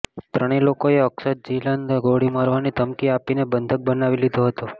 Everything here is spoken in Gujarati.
ત્રણેય લોકોએ અક્ષત જિંદલને ગોળી મારવાની ધમકી આપીને બંધક બનાવી લીધો હતો